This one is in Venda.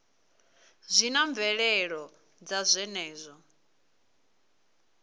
zwi na mvelelo dza zwenezwo